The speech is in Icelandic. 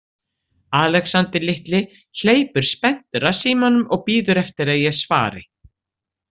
Alexander litli hleypur spenntur að símanum og bíður eftir að ég svari.